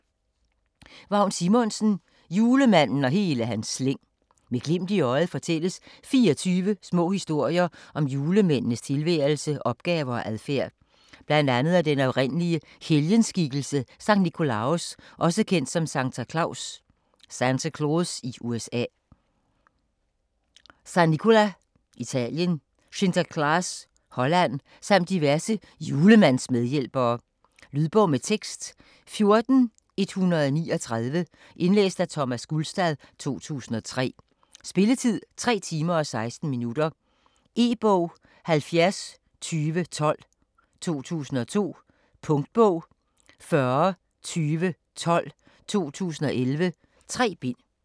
Simonsen, Vagn: Julemanden og hele hans slæng Med glimt i øjet fortælles 24 små historier om julemændenes tilværelse, opgaver og adfærd. Bl.a. om den oprindelige helgenskikkelse Sankt Nicolaos, også kendt som Santa Claus (USA), San Nicola (Italien) eller Sinterklaas (Holland) samt diverse julemandsmedhjælpere. Lydbog med tekst 14139 Indlæst af Thomas Gulstad, 2003. Spilletid: 3 timer, 16 minutter. E-bog 702012 2002. Punktbog 402012 2011. 3 bind.